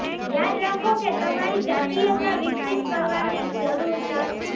યાદ રાખો કે તમારી જાતિયતા વિકસિત કરવાની જરૂર છે